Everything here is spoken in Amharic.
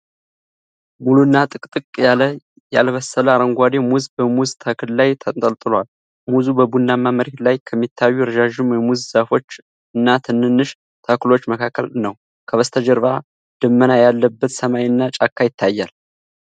ሙሉና ጥቅጥቅ ያለ ያልበሰለ አረንጓዴ ሙዝ በሙዝ ተክል ላይ ተንጠልጥሏል። ሙዙ በቡናማ መሬት ላይ ከሚታዩ ረዣዥም የሙዝ ዛፎች እና ትንንሽ ተክሎች መካከል ነው፣ ከበስተጀርባ ደመና ያለበት ሰማይ እና ጫካ ይታያል።